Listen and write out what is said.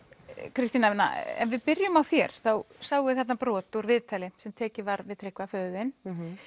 Kristín Anna ef við byrjum á þér þá sáum við þarna brot úr viðtali sem tekið var við Tryggva föður þinn